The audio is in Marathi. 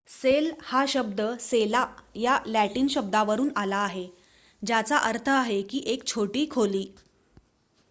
सेल हा शब्द सेला या लॅटिन शब्दावरून आला आहे ज्याचा अर्थ आहे एक छोटी खोली